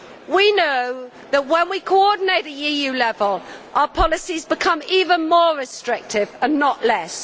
We know that when we coordinate at EU level our policies become even more restrictive and not less.